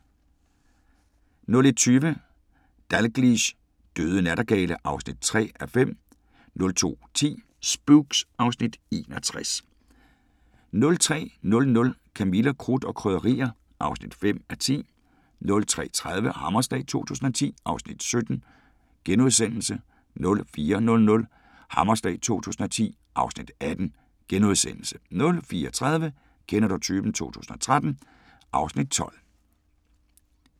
01:20: Dalgliesh: Døde nattergale (3:5) 02:10: Spooks (Afs. 61) 03:00: Camilla – Krudt og Krydderier (5:10) 03:30: Hammerslag 2010 (Afs. 17)* 04:00: Hammerslag 2010 (Afs. 18)* 04:30: Kender du typen 2013 (Afs. 12)